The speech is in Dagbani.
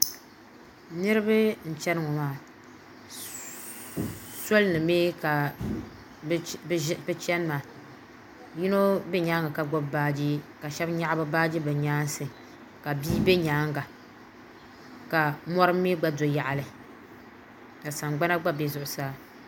Niriba n-chani ŋɔ maa soli ni mi ka bɛ chani maa yino be nyaaŋa ka gbubi baaji ka shɛba nyaɣi baaji bɛ nyaansi ka bia be nyaaŋa ka mɔri mi gba do yaɣili ka sangbana gba be zuɣusaa.